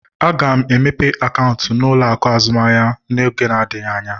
Aga m emepe akaụntụ na ụlọ akụ azụmaahịa n'oge adịghị anya